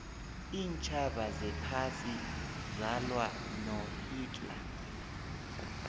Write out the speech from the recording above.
iintjhaba zephasi zalwa no hitler